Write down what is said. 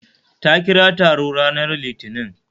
Ta kira taro ranar litinin